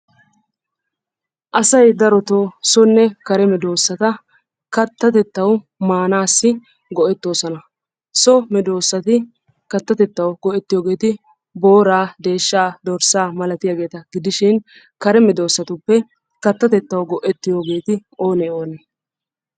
Asay darotoo sonne kare medoosata kattatettawu maanaassi go'ettoosona. So medoosati kattatettawu go'ettogeeti booraa, deeshshaa, dorssaa malatiyageeta gidishin kare medoosatuppe kattatettawu go'ettiyogeeti oonee? oonee?